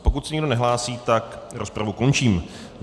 Pokud se nikdo nehlásí, tak rozpravu končím.